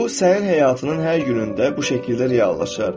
Bu sənin həyatının hər günündə bu şəkildə reallaşır.